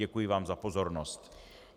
Děkuji vám za pozornost.